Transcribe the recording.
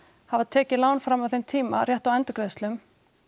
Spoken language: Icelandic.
hafa tekið lán fram að þeim tíma rétt á endurgreiðslum